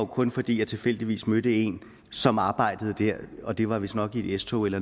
kun fordi jeg tilfældigvis mødte en som arbejdede der og det var vistnok i et s tog eller